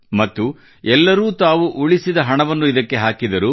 ಮತ್ತು ಎಲ್ಲರೂ ತಾವು ಉಳಿಸಿದ ಹಣವನ್ನು ಇದಕ್ಕೆ ಹಾಕಿದರು